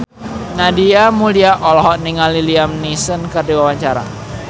Nadia Mulya olohok ningali Liam Neeson keur diwawancara